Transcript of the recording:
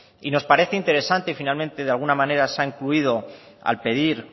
y nos parece interesante y finalmente de alguna manera se ha incluido al pedir